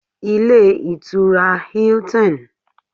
Ilé Ìtura Hilton